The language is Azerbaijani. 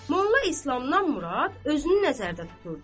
Molla İslamdan Murad özünü nəzərdə tuturdu.